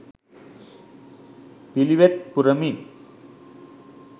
පිළිවෙත් පුරමින්